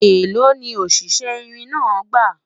èlò ni o oníṣe irin náà gba?